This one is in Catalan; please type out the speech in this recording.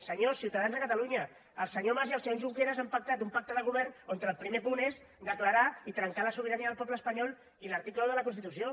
senyors ciutadans de catalunya el senyor mas i el senyor junqueras han pactat un pacte de govern en el qual el primer punt és declarar i trencar la sobirania del poble espanyol i l’article un de la constitució